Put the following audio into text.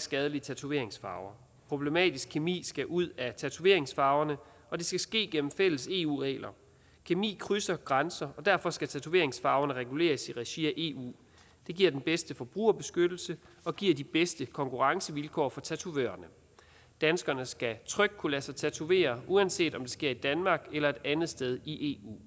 skadelige tatoveringsfarver problematisk kemi skal ud af tatoveringsfarverne og det skal ske gennem fælles eu regler kemi krydser grænser og derfor skal tatoveringsfarverne reguleres i regi af eu det giver den bedste forbrugerbeskyttelse og giver de bedste konkurrencevilkår for tatovørerne danskerne skal trygt kunne lade sig tatovere uanset om det sker i danmark eller et andet sted i eu